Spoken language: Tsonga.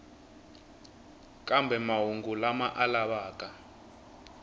kambe mahungu lama a lavaka